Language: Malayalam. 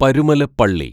പരുമലപ്പള്ളി